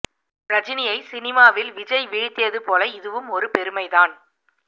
ரஜினியை சினிமாவில் விஜய் வீழ்த்தியது போல இதுவும் ஒரு பெருமை தான்